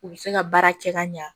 U bɛ se ka baara kɛ ka ɲa